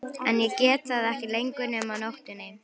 En ég get það ekki lengur nema á nóttunni.